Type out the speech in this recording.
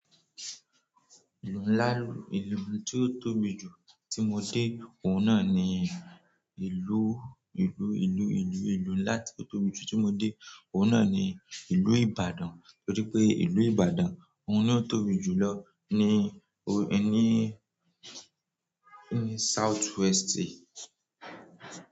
Ìlú ńlá, ìlú tí ó tóbi jù tí mo dé òun náà ni ìlú, ìlú, ìlú, ìlú, ìlú ńlá tí ó tóbi jù tí mo dé òun náà ni ìlú Ibadan. Torí pé ìlú Ibadan òun ni ó tóbi jù lọ ní o ní, ní southwest ti.